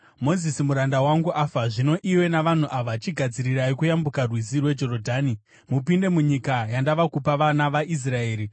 “Mozisi muranda wangu afa. Zvino iwe navanhu ava chigadzirirai kuyambuka rwizi rweJorodhani mupinde munyika yandava kupa vana vaIsraeri.